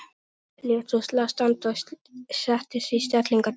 Lét svo slag standa og setti sig í stellingar dömu.